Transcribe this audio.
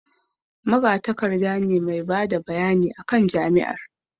magatakarda ne mai bada bayani a kan jami'an